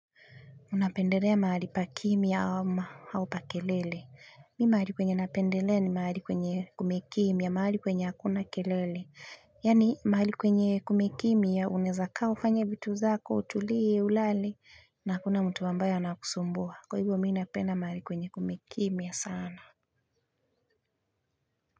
Unapendelea mahali pa kimya ama au pa kelele mimi mahali kwenye napendelea ni mahali kwenye kumekimya mahali kwenye hakuna kelele yaani mahali kwenye kumekimya unaeza kaa ufanye vitu zako utulie ulale na hakuna mtu ambaye anakusumbua kwa hivyo mimi napenda mahali kwenye kumekimya sana.